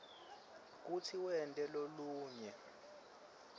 kutsi wente lolunye